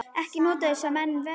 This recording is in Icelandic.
Ekki notuðu þessir menn verjur.